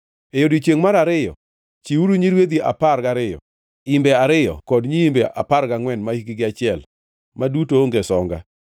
“ ‘E odiechiengʼ mar ariyo chiwuru nyirwedhi apar gariyo, imbe ariyo kod nyiimbe apar gangʼwen mahikgi achiel, ma duto onge songa.